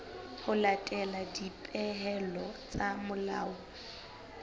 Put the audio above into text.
ho latela dipehelo tsa molao